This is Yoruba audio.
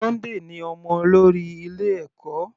Sunday ní ọmọ olórí ilé ẹ̀kọ́.